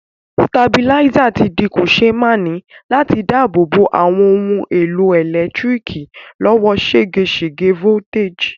Stabilizer ti di kòsémaní láti dábò bo àwon oun èlò ẹ̀lẹ́ntíriki lọ́wọ́ ségesège voltage